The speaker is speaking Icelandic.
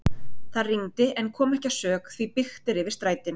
Það rigndi en kom ekki að sök því byggt er yfir strætin.